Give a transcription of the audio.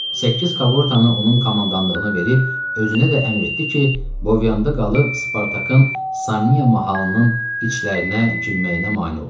Səkkiz kaqortanı onun komandanlığına verib özünə də əmr etdi ki, Bovyanda qalıb Spartakın Samniya mahalının içlərinə girməyinə mane olsun.